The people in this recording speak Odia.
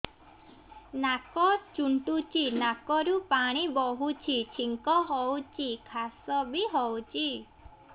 ନାକ ଚୁଣ୍ଟୁଚି ନାକରୁ ପାଣି ବହୁଛି ଛିଙ୍କ ହଉଚି ଖାସ ବି ହଉଚି